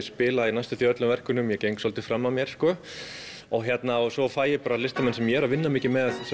spila í næstum öllum verkunum ég geng svolítið fram af mér svo fæ ég listamenn sem ég er vinna mikið með